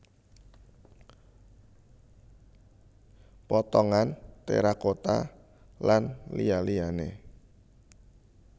Potongan terakota lan liya liyane